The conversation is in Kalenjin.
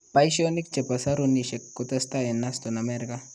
Paishonik chepo sarunishek kotesetai en Huston ,amerika